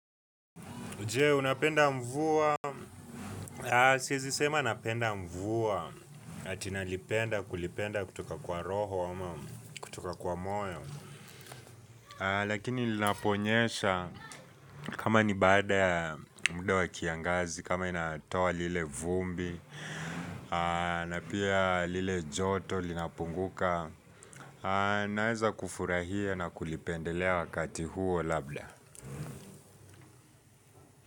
Nje, unapenda mvua. Siezi sema napenda mvua. Ati nalipenda, kulipenda kutoka kwa roho, ama kutoka kwa moyo. Lakini lina ponyesha kama ni baada muda wa kiangazi, kama inatoa lile vumbi, na pia lile joto linapunguka. Naeza kufurahia na kulipendelea wakati huo labda.